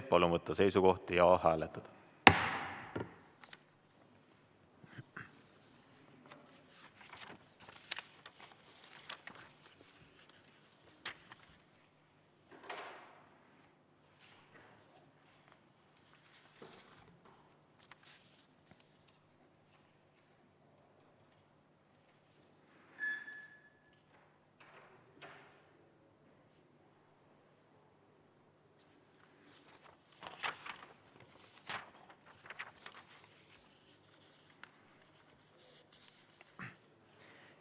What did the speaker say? Palun võtta seisukoht ja hääletada!